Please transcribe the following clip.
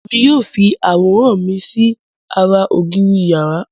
èmi yíò fí aworan mí sí àrà ògiri iyàrá.